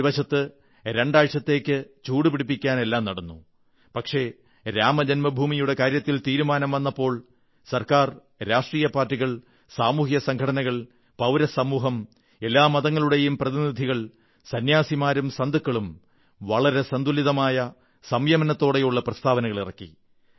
ഒരു വശത്ത് രണ്ടാഴ്ചത്തേക്ക് ചൂടുപിടിപ്പിക്കാൻ എല്ലാം നടന്നു പക്ഷേ രാമജന്മഭൂമിയുടെ കാര്യത്തിൽ തീരുമാനം വന്നപ്പോൾ ഗവൺമെന്റ് രാഷ്ട്രീയ പാർട്ടികൾ സാമൂഹിക സംഘടനകൾ പൌരസമൂഹം എല്ലാ മതങ്ങളുടെയും പ്രതിനിധികൾ സന്യാസിമാരും സന്തുകളും വളരെ സന്തുലിതമായ സംയമനത്തോടെയുള്ള പ്രസ്താവനകളിറക്കി